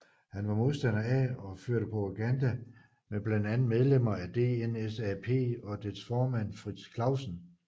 Han var modstander af og førte propaganda mod blandt andet medlemmer af DNSAP og dets formand Frits Clausen